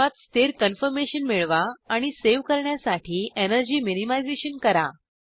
सर्वात स्थिर कन्फरमेशन मिळवा आणि सेव करण्यासाठी एनर्जी मिनिमाइज़ेशन करा